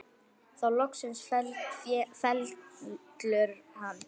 Þá loksins fellur hann.